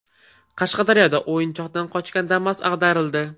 Qashqadaryoda o‘yinchoqdan qochgan Damas ag‘darildi.